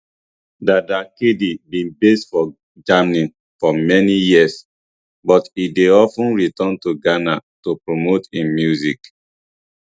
dada kd bin base for germany for many years but e dey of ten return to ghana to promote im music